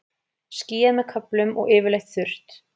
Skýjað með köflum og yfirleitt þurrt